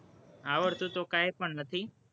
આવડતું તો કઈ પણ નથી,